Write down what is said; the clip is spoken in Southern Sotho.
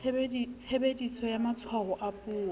tshebediso ya matshwao a puo